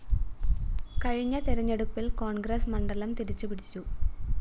കഴിഞ്ഞ തെരഞ്ഞെടുപ്പില്‍ കോണ്‍ഗ്രസ്‌ മണ്ഡലം തിരിച്ചുപിടിച്ചു